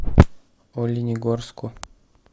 оленегорску